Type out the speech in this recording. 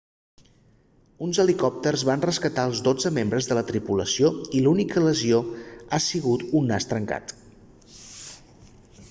uns helicòpters van rescatar els dotze membres de la tripulació i l'única lesió ha sigut un nas trencat